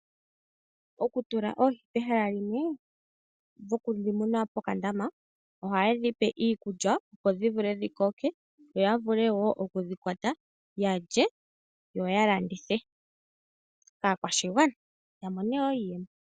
Okutula oohi pehala limwe, okudhi muna pokandama, ohaye dhi pe iikulya, opo dhi koke yo ya vule wo okudhi kwata ya lye, yo ya landithe kaakwashigwana ya mone wo iiyemo.